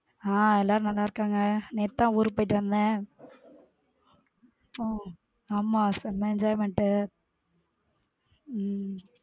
ஹம் எல்லாரும் நல்லா இருக்காங்க. நேத்து தான் ஊருக்கு போயிட்டு வந்தேன ஓஹ ஆமா செம enjoyment உம்